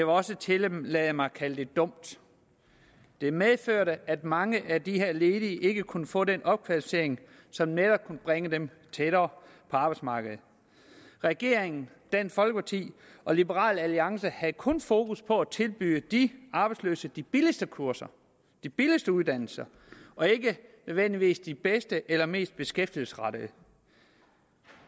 også tillade mig at kalde det dumt det medførte at mange at de her ledige ikke kunne få den opkvalificering som netop kunne bringe dem tættere på arbejdsmarkedet regeringen dansk folkeparti og liberal alliance havde kun fokus på at tilbyde de arbejdsløse de billigste kurser de billigste uddannelser og ikke nødvendigvis de bedste eller mest beskæftigelsesrettede